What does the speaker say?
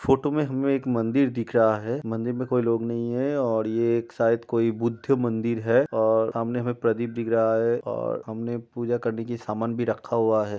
Photo में हमें एक मंदिर दिख रहा है। मंदिर में कोई लोग नहीं है और ये एक शायद कोई बुद्ध मंदिर है और सामने हमें प्रदीप दिख रहा है और हमने पूजा करने की सामान भी रखा हुआ है।